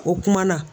O kuma na